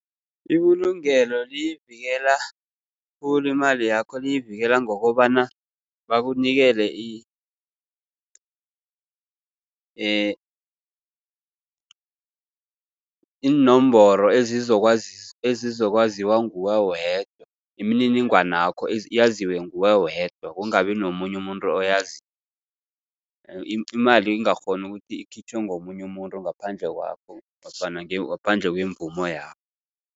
Ibulungelo liyivikela khulu imali yakho, liyivikela ngokobana bakunikele iinomboro ezizokwaziwa nguwe wedwa, imininingwanakho yaziwe nguwe wedwa kungabi nomunye umuntu oyaziko. Imali ingakghoni ukuthi ikhitjhwe ngomunye umuntu ngaphandle kwakho nofana ngaphandle kwemvumo yakho.